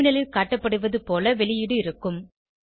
டெர்மினலில் காட்டப்படுவது போல வெளியீடு இருக்கும்